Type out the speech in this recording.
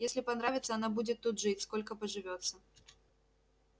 если понравится она будет тут жить сколько поживётся